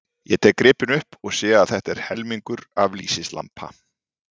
Ég tek gripinn upp og sé að þetta er helmingur af lýsislampa.